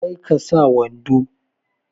Kar ka sa wando!